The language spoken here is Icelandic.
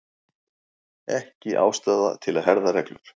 Ekki ástæða til að herða reglur